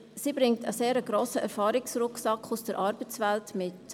Sie bringt einen sehr grossen Erfahrungsrucksack aus der Arbeitswelt mit.